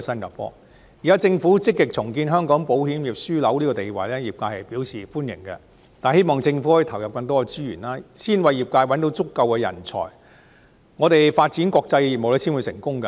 業界樂見政府積極重建香港保險業樞紐的地位，但希望政府可以投入更多資源，先為業界找到足夠的人才，我們發展國際業務才會成功。